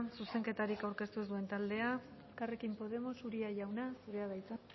zuzenketarik aurkeztu ez duen taldea elkarrekin podemos uria jauna zurea da hitza